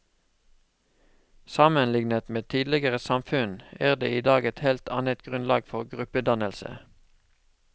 Sammenliknet med tidligere samfunn er det i dag et helt annet grunnlag for gruppedannelse.